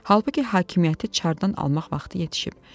Halbuki hakimiyyəti çardan almaq vaxtı yetişib.